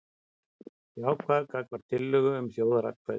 Jákvæður gagnvart tillögu um þjóðaratkvæði